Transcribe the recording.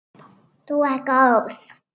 Þú ert góð!